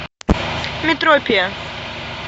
метропия